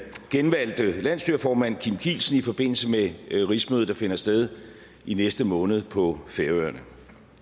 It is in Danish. genvalgte landsstyreformand kim kielsen i forbindelse med rigsmødet der finder sted i næste måned på færøerne